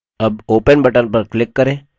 अब open button पर click करें